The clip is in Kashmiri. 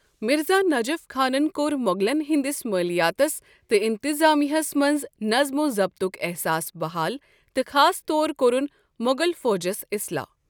مرزا نجف خانن كو٘ر موغلن ہندِس مٲلیاتس تہٕ انتظامیہ ہس منز نظم و ضبطُک احساس بحال تہٕ خاص طور كوٚرُن موغل فوجس اصلاح ۔